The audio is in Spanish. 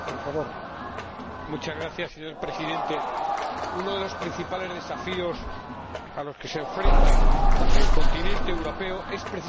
Señor Presidente, uno de los principales desafíos a los que se enfrenta el continente europeo es precisamente la crisis demográfica.